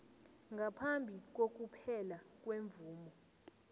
ngaphambi kokuphela kwemvumo